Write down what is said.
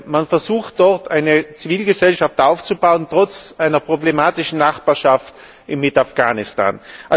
Man versucht dort, eine Zivilgesellschaft aufzubauen trotz einer problematischen Nachbarschaft mit Afghanistan.